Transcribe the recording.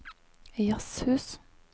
jazzhus